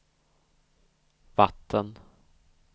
vatten